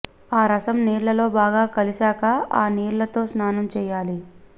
ఆ రసం నీళ్ళలో బాగా కలిసాక ఆ నీళ్ళతో స్నానం చేయాలి